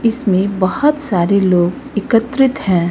इसमें बहोत सारे लोग एकत्रित हैं।